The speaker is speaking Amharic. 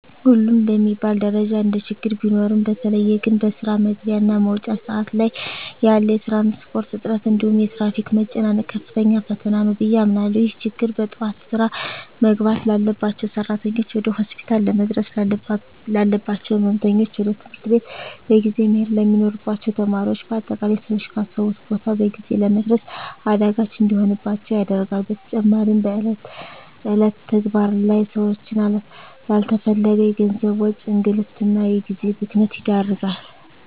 ሁሉም በሚባል ደረጃ እንደችግር ቢኖሩም በተለየ ግን በስራ መግቢያ እና መውጫ ሰአት ላይ ያለ የትራንስፖርት እጥረት እንዲሁም የትራፊክ መጨናነቅ ከፍተኛ ፈተና ነው ብየ አምናለሁ። ይህ ችግር በጠዋት ስራ መግባት ላባቸው ሰራተኞች፣ ወደ ሆስፒታል ለመድረስ ላለባቸው ህመምተኞች፣ ወደ ትምህርት ቤት በጊዜ መሄድ ለሚኖርባቸው ተማሪዎች በአጠቃላይ ሰወች ካሰቡት ቦታ በጊዜ ለመድረስ አዳጋች እንዲሆንባቸው ያደርጋል። በተጨማሪም በእለት እለት ተግባር ላይ ሰወችን ላለተፈለገ የገንዘብ ወጪ፣ እንግልት እና የጊዜ ብክነት ይዳርጋል።